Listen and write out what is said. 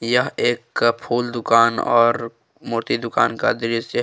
यह एक का फूल दुकान और मूर्ति दुकान का दृश्य है।